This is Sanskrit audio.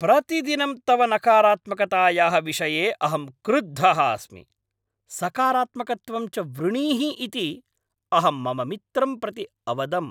प्रतिदिनं तव नकारात्मकतायाः विषये अहं क्रुद्धः अस्मि, सकारात्मकत्वं च वृणीहि इति अहं मम मित्रं प्रति अवदम्।